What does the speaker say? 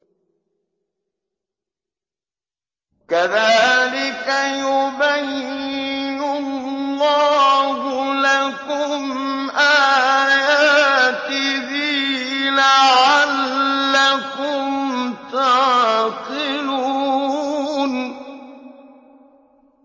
كَذَٰلِكَ يُبَيِّنُ اللَّهُ لَكُمْ آيَاتِهِ لَعَلَّكُمْ تَعْقِلُونَ